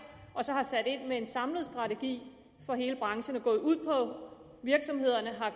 og så har sat ind med en samlet strategi for hele branchen er gået ud på virksomhederne